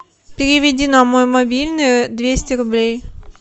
переведи на мой мобильный двести рублей